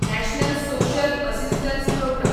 national social assistance programme